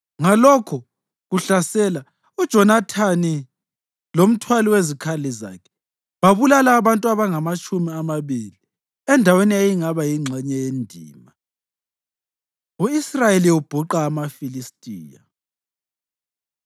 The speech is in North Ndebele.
Ngalokho kuhlasela kokuqala uJonathani lomthwali wezikhali zakhe babulala abantu abangamatshumi amabili endaweni eyayingaba yingxenye yendima. U-Israyeli Ubhuqa AmaFilistiya